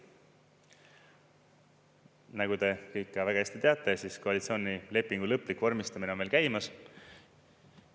Nagu te kõik väga hästi teate, siis koalitsioonilepingu lõplik vormistamine on veel käimas.